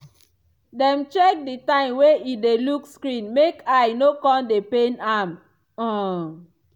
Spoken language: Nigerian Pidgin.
dem check di time wey e dey look screen make eye no come dey pain am. um